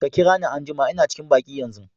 Ka kira ni anjuma. lna cikin banki yanzu.